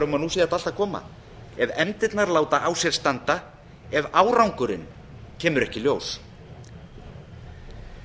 um að nú sé þetta allt að koma ef efndirnar láta á sér standa ef árangurinn kemur ekki í ljós